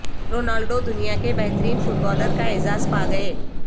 Ronaldo دنیا کے بہترین فٹبالر کا اعزاز پا گئے